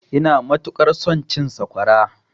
Ina matuƙar son cin sakwara.